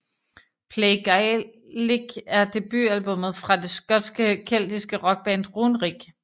Play Gaelic er debutalbummet fra det skotske keltiske rockband Runrig